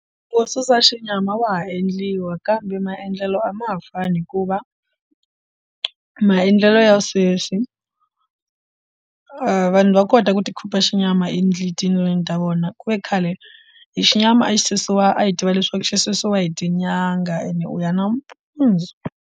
Wo susa xinyama wa ha endliwa kambe maendlelo a ma ha fani hikuva maendlelo ya sweswi vanhu va kota ku ti khipha xinyama endle tindlwini ta vona ku ve khale hi xinyama a xi susiwa a hi tiva leswaku xi susiwa hi tinyanga ene u ya nampundzu.